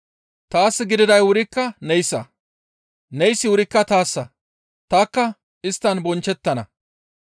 Taas gididay wurikka neyssa; neyssi wurikka tayssa; tanikka isttan bonchchettana.